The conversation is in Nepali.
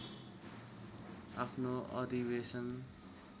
आफ्नो अधिवेशन